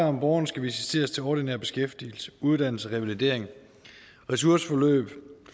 om borgerne skal visiteres til ordinær beskæftigelse uddannelse revalidering ressourceforløb